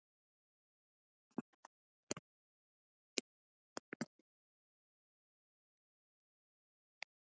Rannsókn þeirra er rannsókn þjóðarsögunnar sjálfrar.